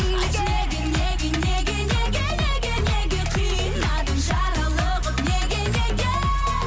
айтшы неге неге неге неге неге неге қинадың жаралы қып неге неге